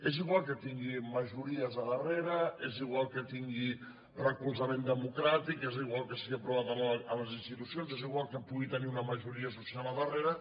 és igual que tingui majories al darrere és igual que tingui recolzament democràtic és igual que sigui aprovat a les institucions és igual que pugui tenir una majoria social al darrere